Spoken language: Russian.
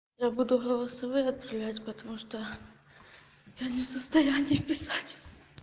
я буду голосовые отправлять потому что я не в состоянии писать